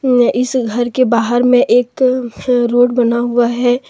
मैं इस घर के बाहर में एक रोड बना हुआ है।